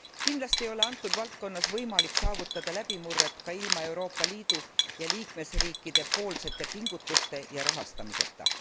Kindlasti ei ole antud valdkonnas võimalik saavutada läbimurret ka ilma Euroopa Liidu ja liikmesriikidepoolsete pingutuste ja rahastamiseta.